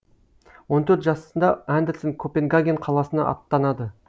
он төрт жасында андерсен копенгаген қаласына аттанады